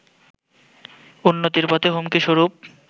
উন্নতির পথে হুমকি স্বরূপ